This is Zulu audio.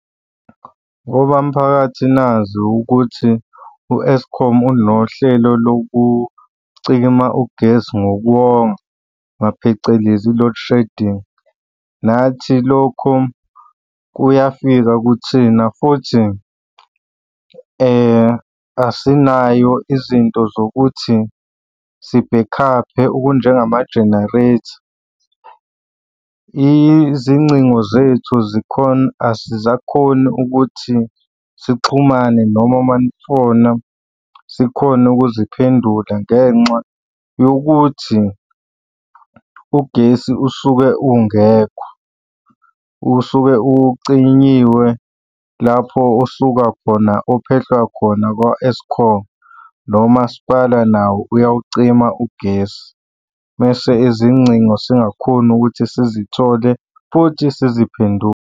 Ngoba mphakathi nazi ukuthi u-Eskom unohlelo lokucima ugesi ngokuwonga, phecelezi i-load shedding. Nathi lokho kuyafika kuthina futhi asinayo izinto zokuthi sibhekhaphe okunjengama-generator. Izingcingo zethu azisakhoni ukuthi sixhumane noma uma nifona sikhone ukuziphendula ngenxa yokuthi ugesi usuke ungekho, usuke ucinyiwe lapho usuka khona ophehlwa khona kwa-Eskom, nomasipala nawo uyawucima ugesi. Mese izingcingo singakhoni ukuthi sizithole futhi siziphendule.